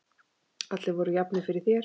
Allir voru jafnir fyrir þér.